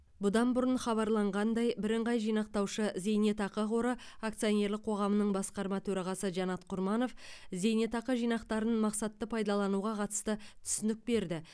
бұдан бұрын хабарланғандай бірыңғай жинақтаушы зейнетақы қоры акционерлік қоғамның басқарма төрағасы жанат құрманов зейнетақы жинақтарын мақсатты пайдалануға қатысты түсінік берді